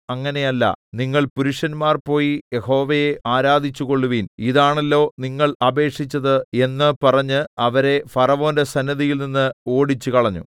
അങ്ങനെയല്ല നിങ്ങൾ പുരുഷന്മാർ പോയി യഹോവയെ ആരാധിച്ചുകൊൾവിൻ ഇതാണല്ലോ നിങ്ങൾ അപേക്ഷിച്ചത് എന്ന് പറഞ്ഞ് അവരെ ഫറവോന്റെ സന്നിധിയിൽനിന്ന് ഓടിച്ചുകളഞ്ഞു